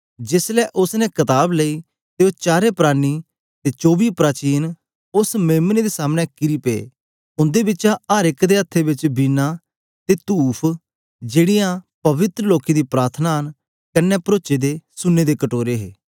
जेस ले उस्स ने कताब लेई ते ओ चारें प्राणी ते चौबी प्राचीन उस्स मेम्ने दे सामने किरी पे उंदे बिचा अर एक दे हत्थे बिच वीणा ते तूफ जेकीयां पवित्र लोकें दी प्रार्थनां न कन्ने परोचे दे सुन्ने दे कटोरे हे